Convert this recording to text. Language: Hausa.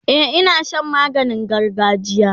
e Ina Shan maganin gargajiya